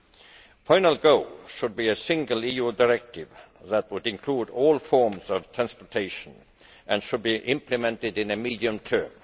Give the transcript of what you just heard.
The final goal should be a single EU directive that would include all forms of transportation and should be implemented in the medium term.